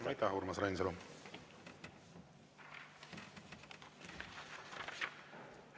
Aitäh, Urmas Reinsalu!